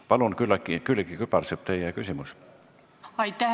Palun, Külliki Kübarsepp, teie küsimus!